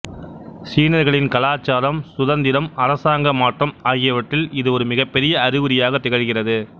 சீனர்களின் கலாச்சாரம் சுதந்திரம் அரசாங்க மாற்றம் ஆகியவற்றில் இது ஒரு மிகப் பெரிய அறிகுறியாகத் திகழ்கிறது